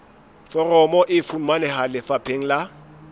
foromo e fumaneha lefapheng la